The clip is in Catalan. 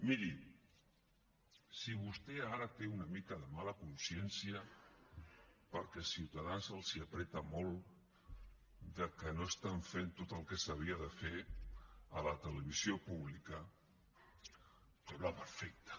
miri si vostè ara té una mica de mala consciència perquè ciutadans els apreta molt de que no estan fent tot el que s’havia de fer a la televisió pública em sembla perfecte